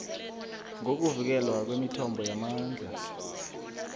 ngokuvikelwa kwemithombo yamandla